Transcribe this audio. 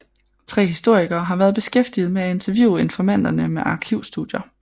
Tre historikere har været beskæftiget med at interviewe informanterne og med arkivstudier